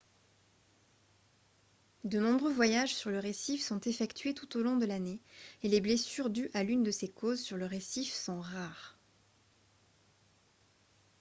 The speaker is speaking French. de nombreux voyages sur le récif sont effectués tout au long de l'année et les blessures dues à l'une de ces causes sur le récif sont rares